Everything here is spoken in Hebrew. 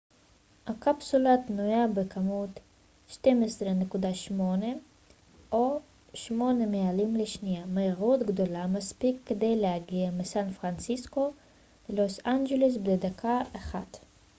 הקפסולה תנוע בכ-12.8 ק מ או 8 מיילים לשנייה מהירות גדולה מספיק כדי להגיע מסן פרנסיסקו ללוס אנג'לס בדקה אחת